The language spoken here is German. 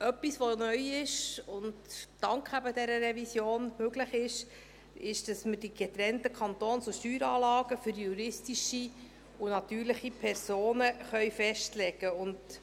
Etwas, das neu ist und eben dank dieser Revision möglich ist, ist, dass wir getrennte Kantons- und Steueranlagen für juristische und natürliche Personen festlegen können.